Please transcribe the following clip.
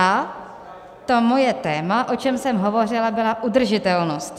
A to moje téma, o čem jsem hovořila, bylo udržitelnost.